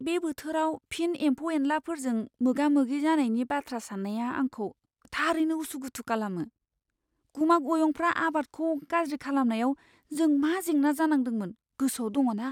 बे बोथोराव फिन एमफौ एनलाफोरजों मोगा मोगि जानायनि बाथ्रा सान्नाया आंखौ थारैनो उसुखुथु खालामो। गुमा गयंफ्रा आबादखौ गाज्रि खालामनायाव जों मा जेंना जादोंमोन गोसोआव दङ ना?